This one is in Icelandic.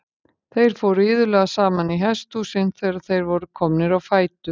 Þeir fóru iðulega saman í hesthúsin þegar þeir voru komnir á fætur.